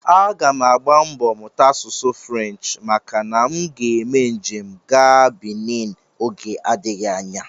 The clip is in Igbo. Aga m agba mbọ mụta asụsụ French maka na aga m eme njem gaa Benin oge adịghị anya